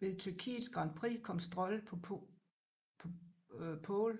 Ved Tyrkiets Grand Prix kom Stroll på pole